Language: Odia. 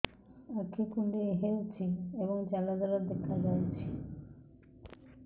ଆଖି କୁଣ୍ଡେଇ ହେଉଛି ଏବଂ ଜାଲ ଜାଲ ଦେଖାଯାଉଛି